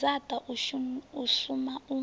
ya dzaṱa u suma u